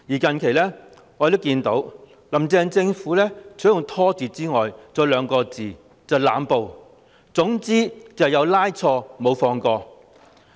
近來，我們看到"林鄭"政府除了施以"拖字訣"外，還有兩個字，就是"濫捕"，總之"有拉錯，無放過"。